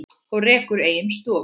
og rekur eigin stofu.